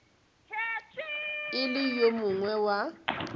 e le yo mongwe wa